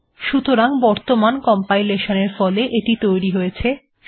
সতরাং বর্তমান কমপাইলেশান এর ফলে এটি তৈরী হয়েছে